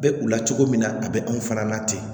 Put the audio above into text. Bɛ u la cogo min na a bɛ anw fana na ten